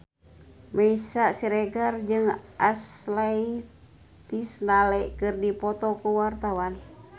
Meisya Siregar jeung Ashley Tisdale keur dipoto ku wartawan